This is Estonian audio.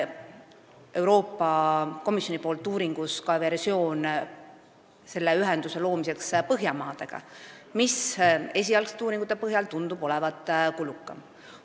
Euroopa Komisjon on lasknud põgusalt uurida ka versiooni, et see ühendus luuakse Põhjamaade kaudu, aga esialgsete uuringute põhjal tundub see olevat kulukam.